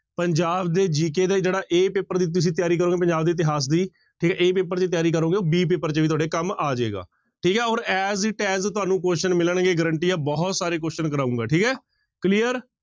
ਪੰਜਾਬ ਦੇ GK ਦਾ ਜਿਹੜਾ a ਪੇਪਰ ਦੀ ਤੁਸੀਂ ਤਿਆਰੀ ਕਰੋਂਗੇ ਪੰਜਾਬ ਦੇ ਇਤਿਹਾਸ ਦੀ ਠੀਕ ਹੈ a ਪੇਪਰ ਦੀ ਤਿਆਰੀ ਕਰੋਗੇ ਉਹ b ਪੇਪਰ ਚ ਵੀ ਤੁਹਾਡੇ ਕੰਮ ਆ ਜਾਏਗਾ ਠੀਕ ਹੈ ਔਰ as it as ਤੁਹਾਨੂੰ question ਮਿਲਣਗੇ guarantee ਆ ਬਹੁਤ ਸਾਰੇ question ਕਰਵਾਊਂਗਾ ਠੀਕ ਹੈ clear